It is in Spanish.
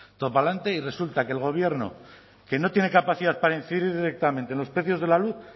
todo para delante y resulta que el gobierno que no tiene capacidad para incidir directamente en los precios de la luz